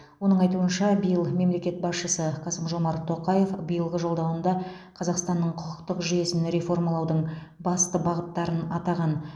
оның айтуынша биыл мемлекет басшысы қасым жомарт тоқаев биылғы жолдауында қазақстанның құқықтық жүйесін реформалаудың басты бағыттарын атаған